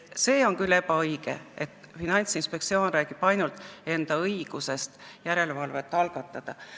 See ei ole küll õige, et Finantsinspektsioon räägib ainult enda õigusest järelevalvet algatada.